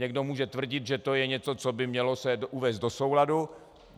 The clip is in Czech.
Někdo může tvrdit, že to je něco, co by se mělo uvést do souladu.